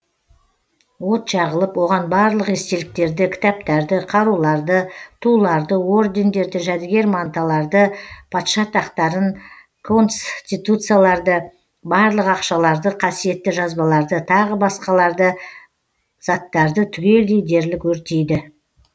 от жағылып оған барлық естеліктерді кітаптарды қаруларды туларды ордендерді жәдігер манталарды патша тақтарын конституцияларды барлық ақшаларды қасиетті жазбаларды тағы басқаларды заттарды түгелдей дерлік өртейді